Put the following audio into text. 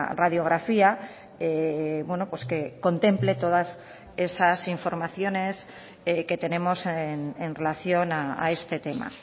radiografía que contemple todas esas informaciones que tenemos en relación a este tema